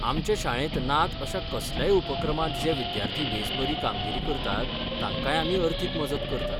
आमचे शाळेंत नात अशा कसल्याय उपक्रमांत जे विद्यार्थी बेस बरी कामगिरी करतात तांकांय आमी अर्थीक मजत करतात.